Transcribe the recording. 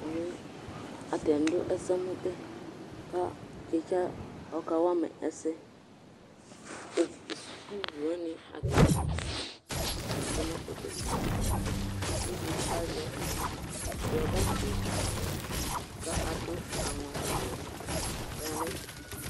ɛmɛ atani do ɛsɛmò bɛ kò titsa ɔka wama ɛsɛ sukuvi wani atani tsue n'ɛfoɛ kpekpekpe uvi di azɛ rɔba fue k'ado aŋɔ awu k'ɔya n'ɛfɛ